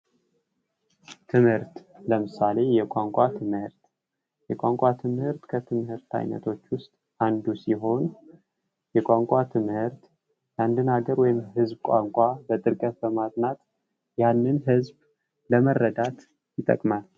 ትምህርት ለምሳሌ የቋንቋ ትምህርት ፡ የቋንቋ ትምህርት ከትምህርት አይነቶች ውስጥ አንዱ ሲሆን የቋንቋ ትምህርት የአንድን ሀገር ወይም ህዝብ ቋንቋ በጥልቀት በማጥናት ያንን ህዝብ ለመረዳት ይጠቅማል ።